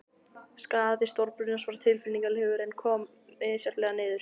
Skaði stórbrunans var tilfinnanlegur, en kom misjafnlega niður.